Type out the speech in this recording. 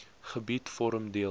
gebied vorm deel